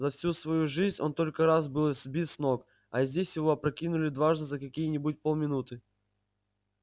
за всю вою жизнь он только раз был сбит с ног а здесь его опрокинули дважды за какие нибудь полминуты